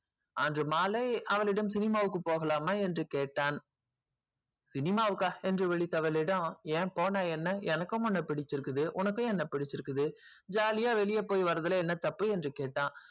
அன்று மாலை cinema க்கு போலாமா என்று கேட்டான் cinema என்று ஏன் போன என்ன எனக்கும் உன்ன புடிச்சிருக்கு உனக்கும் என்னைய புடிச்சிருக்கு போன என்ன jolly வெளிய போயிடு வாரத்துல என்ன இருக்கு என்று கேட்டான்